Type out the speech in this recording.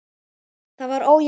Það var ójafn leikur.